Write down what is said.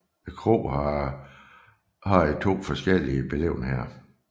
Kroen har haft to forskellige beliggenheder